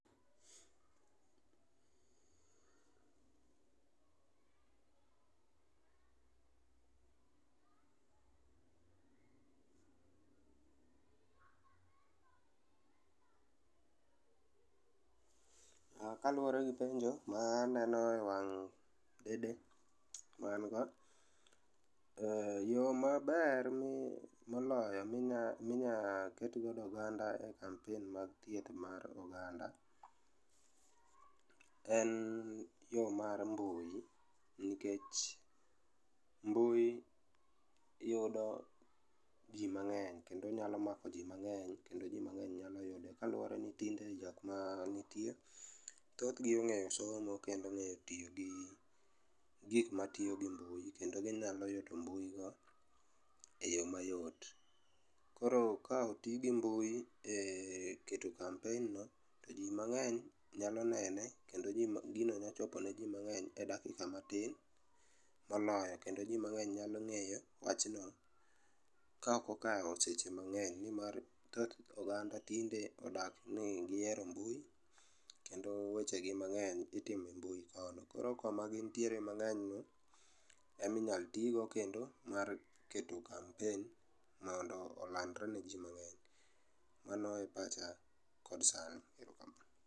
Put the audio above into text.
Kaluore gi penjo ma aneno e wang' dede ma an go, eeh, yor maber min, moloyo minya, minya ket godo e oganda e kampen mar thieth mar oganda en yo mar mbui nikech mbui yudo jii mangeny kendo inyalo mako jii mangeny kendo jii mangeny nyalo yudo kaluore ni tinde jokma nitie thothgi ong'e somo kendo ong'e tiyo gi gik matiyo gi mbui kendo ginyalo yudo mbui go e yoo mayot. Koro ka otii gi mbui e keto kampen no to jii mangeny nyalo nene kendo gino nyalo chopone jii mangeny e dakika matin moloyo kendo jii mangeny nyalo ng'eyo wachno kaok okalo seche mangeny nimar oganda tinde odak ni gihero mbui kendo weche gi mangeny itiyo e mbui kono. Koro koma gintie e mbui mangeny no ema inyal tigo kendo mar keto kampen mondo olandre ne jii mangeny. Mano e pacha kod sani